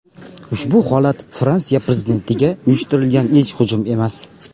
Ushbu holat Fransiya Prezidentiga uyushtirilgan ilk hujum emas.